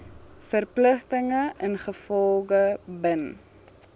verpligtinge ingevolge bin